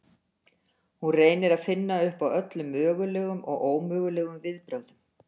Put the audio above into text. Hún reynir að finna upp á öllum mögulegum og ómögulegum viðbrögðum.